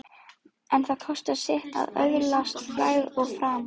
En það kostar sitt að öðlast frægð og frama.